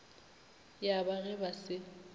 ya ba ge ba se